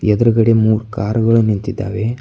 ಎದರಗಡೆ ಮುರ ಕಾರ ಗಳು ನಿಂತಿದಾವೆ.